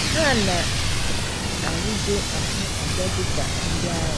Ha na - arịgo ahụ aja dị ka ndị agha.